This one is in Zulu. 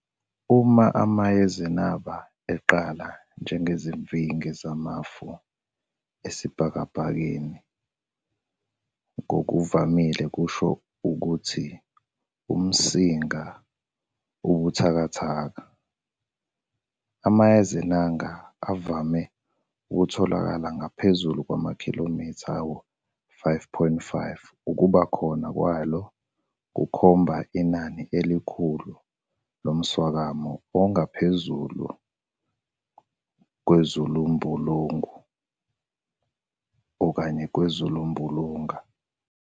Uma amayezenaba aqala njengezimvingi zamafu esibhakabhakeni ngokuvamile kusho ukuthi umsinga ubuthakathaka. Amayezenaba avame ukutholakala ngaphezu kwamakhilimitha ayisi-5.5 Ukuba khona kwaylwo kukhomba inani elikhulu lomswakama ongaphezu kwezulumbulunga.